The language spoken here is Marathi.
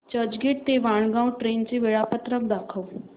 चर्चगेट ते वाणगांव ट्रेन चे वेळापत्रक दाखव